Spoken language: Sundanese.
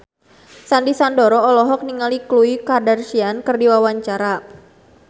Sandy Sandoro olohok ningali Khloe Kardashian keur diwawancara